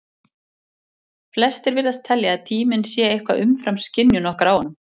flestir virðast telja að tíminn sé eitthvað umfram skynjun okkar á honum